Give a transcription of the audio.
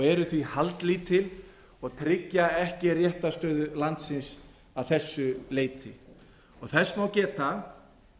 eru því haldlítil og tryggja ekki réttarstöðu landsins að þessu leyti þess má geta